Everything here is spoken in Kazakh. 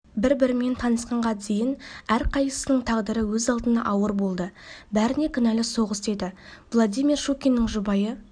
бір-бірімен танысқанға дейін әрқайсысының тағдыры өз алдына ауыр болды бәріне кінәлі соғыс еді владимир щукинның жұбайы